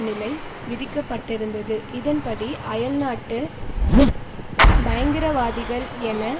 நிலை விதிக்கப்பட்டிருந்தது இதன்படி அயல்நாட்டு பயங்கரவாதிகள் என